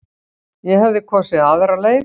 Ég hefði kosið aðra leið.